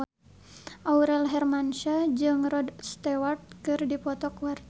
Aurel Hermansyah jeung Rod Stewart keur dipoto ku wartawan